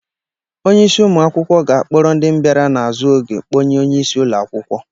Onyeisi ụmụ akwụkwọ ga-akpọrọ ndị bịara na-azụ oge kpọnye onyeisi ụlọ akwụkwọ.